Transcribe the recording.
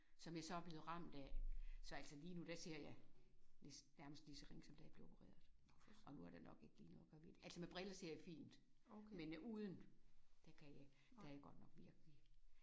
Som jeg så er blevet ramt af. Så altså lige nu der ser jeg nærmest lige så ringe som da jeg blev opereret og nu er der nok ikke lige noget at gøre ved det altså med briller ser jeg fint men uden der kan jeg ikke der er jeg godt nok virkelig